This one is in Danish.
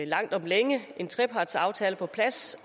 langt om længe at få en trepartsaftale på plads